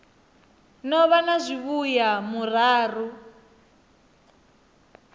no vha na zwivhuya murahu